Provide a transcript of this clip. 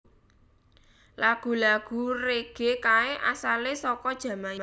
Lagu lagu rege kae asale soko Jamaika